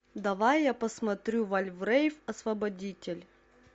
давай я посмотрю вальврейв освободитель